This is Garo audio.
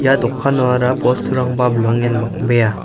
ia dokanoara bosturangba bilongen bang·bea.